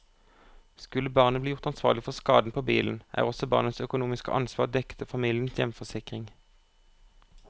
Skulle barnet bli gjort ansvarlig for skaden på bilen, er også barnets økonomiske ansvar dekket av familiens hjemforsikring.